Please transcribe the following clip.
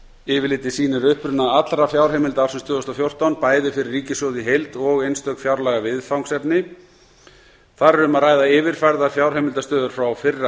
yfirlitið sýnir uppruna allra fjárheimilda ársins tvö þúsund og fjórtán bæði fyrir ríkissjóð í heild og einstök fjárlagaviðfangsefni þar er um að ræða yfirfærðar fjárheimildastöður frá fyrra